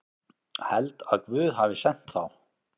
Held að Guð hafi sent þá.